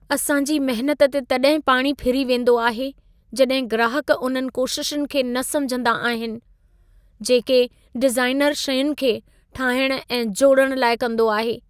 असां जी महनत ते तॾहिं पाणी फिरी वेंदो आहे, जॾहिं ग्राहक उन्हनि कोशिशुनि खे न समिझंदा आहिनि, जेके डिज़ाइनर शयुनि खे ठाहिण ऐं जोड़ण लाइ कंदो आहे।